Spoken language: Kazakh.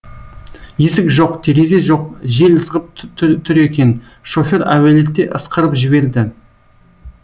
есік жоқ терезе жоқ жел ызғып түр екен шофер әуелете ысқырып жіберді